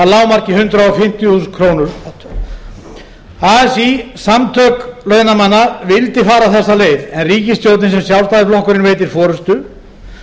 lágmarki hundrað fimmtíu þúsund krónur así samtök launamanna vildi fara þessa leið en ríkisstjórnin sem sjálfstæðisflokkurinn veitir forustu